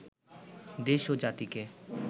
দেশ ও জাতিকে